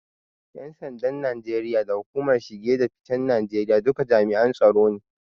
Ƴan sandan Najeriya da hukumar kula da shige da ficen Najeriya duka jami'an tsaro ne.